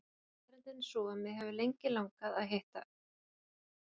Staðreyndin er sú að mig hefur lengi langað til að hitta